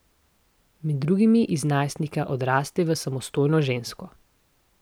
Med drugim iz najstnika odraste v samostojno žensko.